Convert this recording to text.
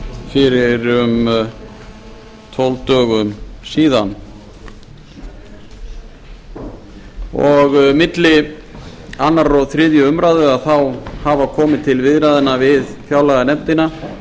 fyrir um tólf dögum síðan milli annars og þriðju umræðu þá hafa komið til viðræðna við fjárlaganefndina